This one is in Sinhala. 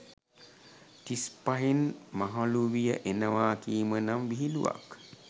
තිස් පහෙන් මහළුවිය එනවා කීම නම් විහිළුවක්.